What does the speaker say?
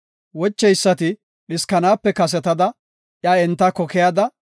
Wocheysati dhiskanaape kasetada, iya entako keyada,